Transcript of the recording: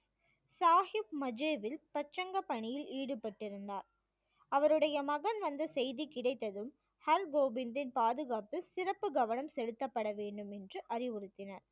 சாஹிப் மஜேவில் பிரசங்கப் பணியில் ஈடுபட்டிருந்தார் அவருடைய மகன் வந்த செய்தி கிடைத்ததும் ஹர்கோபிந்தின் பாதுகாப்பில் சிறப்பு கவனம் செலுத்தப்பட வேண்டும் என்று அறிவுறுத்தினார்